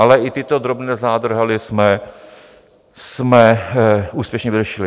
Ale i tyto drobné zádrhely jsme úspěšně vyřešili.